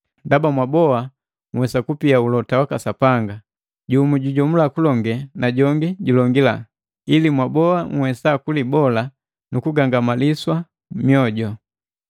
Ndaba mwaboa nhwesa kupia ulota waka Sapanga, jumu jujomula kulonge na jongi julongila, ili mwaboa nhwesa kulibola nukugangamaliswa mwoju.